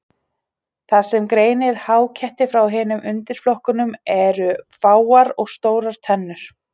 Það sem greinir háketti frá hinum undirflokkunum eru fáar og stórar tennur.